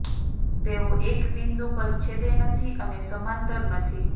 તેઓ એક બિંદુ પર છેદે નથી અને સમાંતર નથી